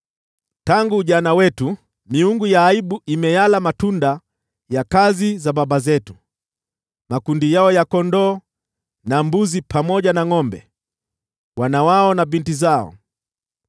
Tangu ujana wetu miungu ya aibu imeyala matunda ya kazi za baba zetu: makundi yao ya kondoo na ngʼombe, wana wao na binti zao.